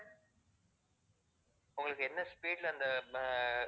உங்களுக்கு என்ன speed ல அந்த ஆஹ்